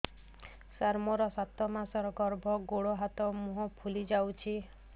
ସାର ମୋର ସାତ ମାସର ଗର୍ଭ ଗୋଡ଼ ହାତ ମୁହଁ ଫୁଲି ଯାଉଛି